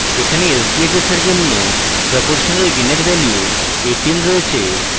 এখানে sbhs এর জন্য proportional gain এর value 18 রয়েছে